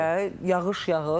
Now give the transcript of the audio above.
Bir neçə dəfə yağış yağır.